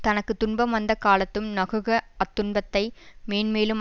தனக்கு துன்பம் வந்த காலத்தும் நகுக அத்துன்பத்தை மேன்மேலும்